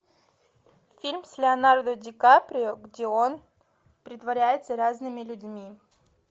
фильм с леонардо ди каприо где он притворяется разными людьми